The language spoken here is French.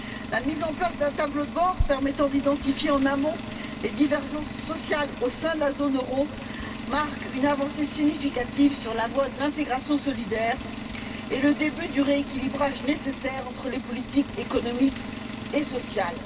La mise en place d'un tableau de bord permettant d'identifier en amont les divergences sociales au sein de la zone euro marque une avancée significative sur la voie de l'intégration solidaire et le début du rééquilibrage nécessaire entre les politiques économiques et sociales.